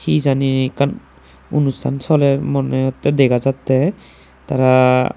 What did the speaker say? hejani ekan onustan soler money hoi degajatay tara.